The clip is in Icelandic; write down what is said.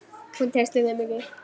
Hún treysti þeim ekki.